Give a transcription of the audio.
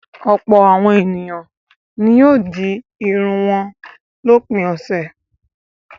Ọ̀pọ̀ àwọn ènìyàn ni wọ́n yóò di irun wọn lópin ọ̀sẹ̀.